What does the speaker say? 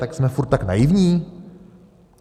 To jsme furt tak naivní?